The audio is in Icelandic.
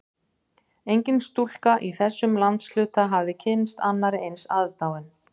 Engin stúlka í þessum landshluta hafði kynnst annarri eins aðdáun